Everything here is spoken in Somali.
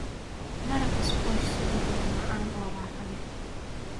Maraq squash subagga waa macaan oo raaxo leh.